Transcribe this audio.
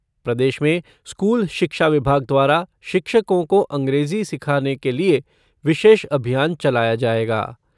प्रदेश में स्कूल शिक्षा विभाग द्वारा शिक्षकों को अंग्रेजी सिखाने के लिए विशेष अभियान चलाया जाएगा।